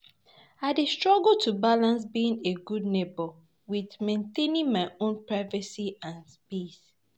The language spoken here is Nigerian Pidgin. I dey struggle to balance being a good neighbor with maintaining my own privacy and peace.